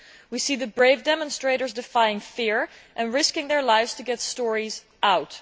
We can see the brave demonstrators defying fear and risking their lives to get stories out.